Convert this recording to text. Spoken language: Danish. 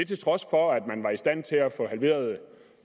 til trods for at man var i stand til at få halveret